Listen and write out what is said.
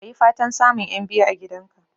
Ka yi fatan samun 'yan biyu a gidan ka